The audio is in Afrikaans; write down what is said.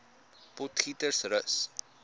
potgietersrus